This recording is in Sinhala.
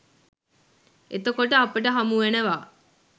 එතකොට අපට හමුවෙනවා